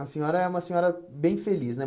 A senhora é uma senhora bem feliz, né?